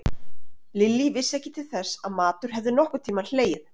Lilla vissi ekki til þess að matur hefði nokkurn tímann hlegið.